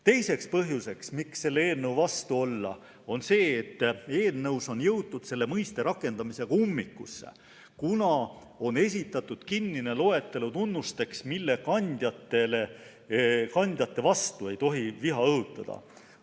Teine põhjus, miks selle eelnõu vastu olla, on see, et eelnõus on jõutud selle mõiste rakendamisega ummikusse, kuna on esitatud kinnine loetelu tunnustest, mille kandjate vastu ei tohi viha õhutada.